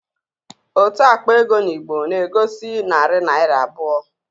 Otu àkpà égo in Igbo egosi 200 naira